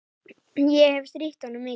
Ég hefi strítt honum mikið.